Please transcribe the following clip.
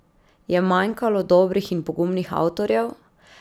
Je manjkalo dobrih in pogumnih avtorjev?